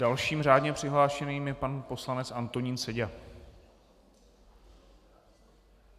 Dalším řádně přihlášeným je pan poslanec Antonín Seďa.